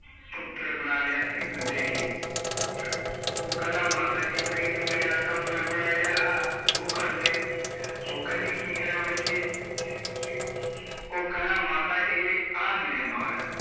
ਪੁੱਤਰ ਬਣਾ ਲਿਆ ਧੀ ਨੂੰ ਦੇ ਕੇ ਉਹ ਕਹਿੰਦਾ ਮਾਤਾ ਜੀ ਫਿਰ ਇੱਕ ਮੇਰਾ ਕੰਮ ਐ ਮਾੜਾ ਜਿਹਾ ਉਹ ਕਰਦੇ, ਉਹ ਕਹਿੰਦੀ ਕੀ ਕਰਾ ਬੱਚੇ ਉਹ ਕਹਿੰਦਾ ਮਾਤਾ ਏਹ ਆਹ ਦੇਖ ਰੁਮਾਲ